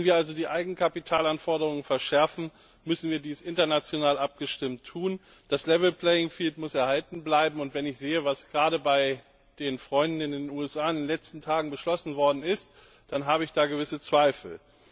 Wenn wir also die Eigenkapitalanforderungen verschärfen, müssen wir dies international abgestimmt tun. Das level playing field muss erhalten bleiben, und wenn ich sehe, was gerade bei den Freunden in den USA in den letzten Tagen beschlossen wurde, dann habe ich da gewisse Zweifel.